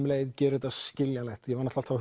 leið gera þetta skiljanlegt ég var náttúrulega